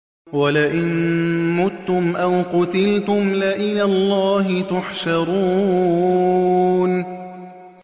وَلَئِن مُّتُّمْ أَوْ قُتِلْتُمْ لَإِلَى اللَّهِ تُحْشَرُونَ